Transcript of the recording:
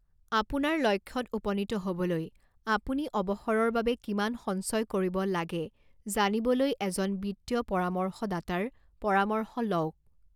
আপোনাৰ লক্ষ্যত উপনীত হ'বলৈ আপুনি অৱসৰৰ বাবে কিমান সঞ্চয় কৰিব লাগে জানিবলৈ এজন বিত্তীয় পৰামৰ্শদাতাৰ পৰামৰ্শ লওঁক।